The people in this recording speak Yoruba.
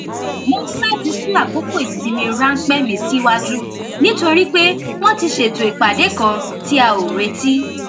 mo ní láti sún àkókò ìsinmi ránpẹ mi síwájú nítorí pé wón ti ṣètò ìpàdé kan tí a ò retí